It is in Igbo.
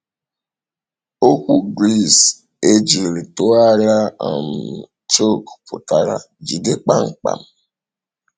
Okwu Gris e jiri tụgharịa um “choke” pụtara “jide kpamkpam.”